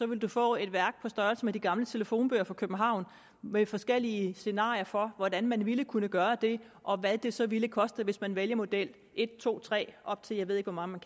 man få et værk på størrelse med de gamle telefonbøger for københavn med forskellige scenarier for hvordan man ville kunne gøre det og hvad det så vil koste hvis man valgte model en to tre og op til jeg ved ikke hvor mange man